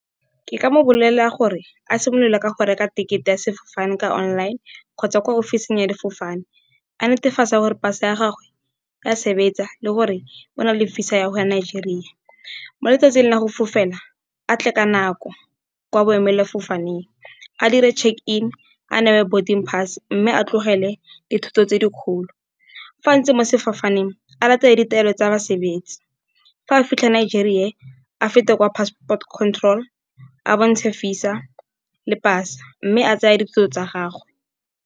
Ke ka mo bolelela gore a simolola ka go reka tekete ya sefofane ka online kgotsa kwa office-ing ya difofane. A netefatse gore pasa ya gagwe ya sebetsa le gore o na le visa ya go ya Nigeria. Mo letsatsing la go fofela a tle ka nako kwa boemela fofaneng a dire check-in, a newe boarding pass mme a tlogele dithoto tse dikgolo. Fa a ntse mo sefofaneng a latele ditaelo tsa basebetsa. Fa a fitlha Nigeria, fa a feta kwa Passport Control a bontshe visa le pasa mme a tseye dilo tsa gagwe.